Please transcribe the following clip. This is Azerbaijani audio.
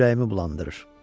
Düyü ürəyimi bulandırır.